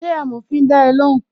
Ṣé amòfin da ẹ lóhùn?